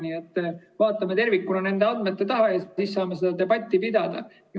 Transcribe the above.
Kui vaatame tervikuna nende andmete taha, siis saame seda debatti pidada.